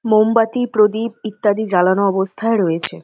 মোমবাতি প্রদীপ ইত্যাদি জ্বালানো অবস্থায় রয়েছে।